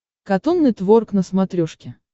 катун нетворк на смотрешке